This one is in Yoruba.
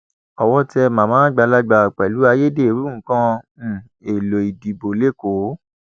owó tẹ màmá àgbàlagbà pẹlú ayédèrú nǹkan um èèlò ìdìbò lẹkọọ